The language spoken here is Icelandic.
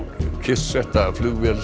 kyrrsetta flugvél